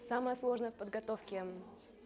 самое сложное в подготовке